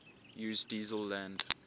use diesel land